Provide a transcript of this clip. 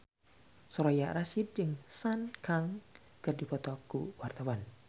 Soraya Rasyid jeung Sun Kang keur dipoto ku wartawan